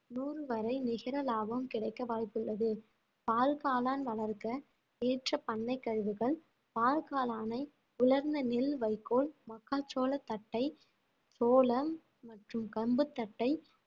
நூறு வரை நிகர லாபம் கிடைக்க வாய்ப்புள்ளது பால்காளான் வளர்க்க ஏற்ற பண்ணை கழிவுகள் பால் காளானை உலர்ந்த நெல் வைக்கோல் மக்காச்சோள தட்டை சோளம் மற்றும் கம்பு தட்டை